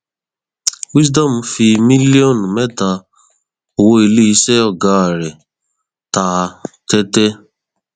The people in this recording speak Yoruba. wisdom fi mílíọnù mẹta owó iléeṣẹ ọgá rẹ ta tẹtẹ